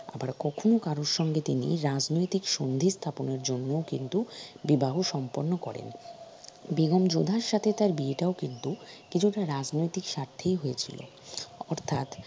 আবার কখন কারো সঙ্গে তিনি রাজনৈতিক সন্ধি স্থাপনের জন্য কিন্তু বিবাহ সম্পন্ন করেন বেগম যোধার সাথে তার বিয়েটাও কিন্তু কিছুটা রাজনৈতিক স্বার্থেই হয়েছিল অর্থাৎ